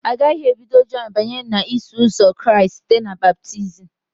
Agaghị ebido Jọn banye n'Iso Ụzọ Kraịst site na baptizim.